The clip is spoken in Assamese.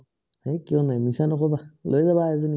হেই কিয় নাই, মিছা নকবা লৈ যাবা এজনী